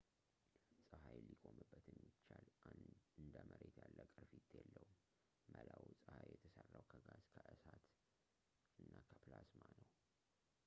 ፀሀይ ሊቆምበት የሚቻል እንደ መሬት ያለ ቅርፊት የለውም መላው ፀሐይ የተሠራው ከጋዝ ከእሳት እና ከፕላዝማ ነው